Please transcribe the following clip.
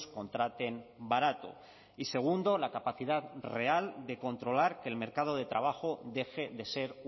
contraten barato y segundo la capacidad real de controlar que el mercado de trabajo deje de ser